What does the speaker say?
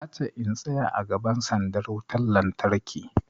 Ta ce in tsaya a gaban sandar wutan lantarki!